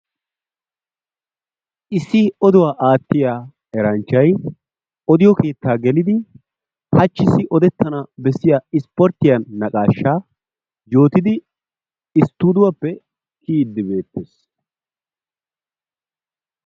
Issi oduwa aatiya eranchchay odiyo keettaa gelidi hachchissi odetana besiya ispportyiya naqaashaa yootidi stuuduwappe kiyidi beettees.